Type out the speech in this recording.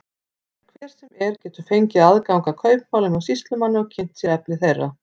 Hver sem er getur fengið aðgang að kaupmálum hjá sýslumanni og kynnt sér efni þeirra.